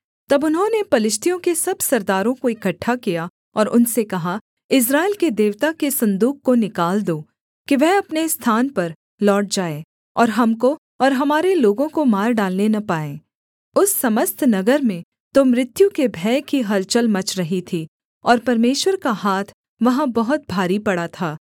तब उन्होंने पलिश्तियों के सब सरदारों को इकट्ठा किया और उनसे कहा इस्राएल के देवता के सन्दूक को निकाल दो कि वह अपने स्थान पर लौट जाए और हमको और हमारे लोगों को मार डालने न पाए उस समस्त नगर में तो मृत्यु के भय की हलचल मच रही थी और परमेश्वर का हाथ वहाँ बहुत भारी पड़ा था